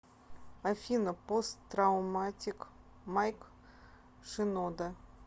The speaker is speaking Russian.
афина пост трауматик майк шинода